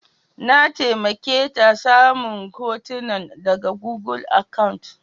Na taimake ta samu hotunan daga gugul akant.